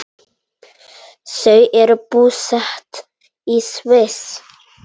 Þau eru búsett í Sviss.